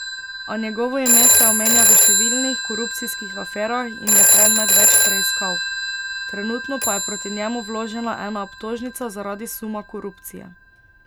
A njegovo ime se omenja v številnih korupcijskih aferah in je predmet več preiskav, trenutno pa je proti njemu vložena ena obtožnica zaradi suma korupcije.